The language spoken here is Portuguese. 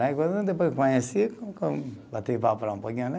Depois conheci, bati papo lá um pouquinho, né?